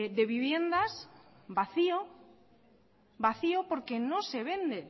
de viviendas vacío porque no se vende